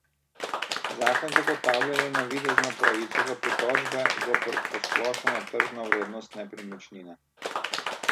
Zakon zagotavlja le navidezno pravico do pritožbe zoper posplošeno tržno vrednost nepremičnine.